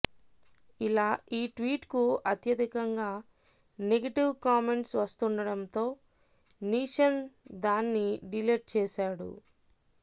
ఇలా ఈ ట్వీట్ కు అత్యధికంగా నెగెటివ్ కామెంట్స్ వస్తుండటంతో నీషన్ దాన్ని డిలేట్ చేశాడు